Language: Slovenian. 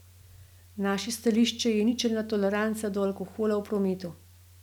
Naše stališče je ničelna toleranca do alkohola v prometu.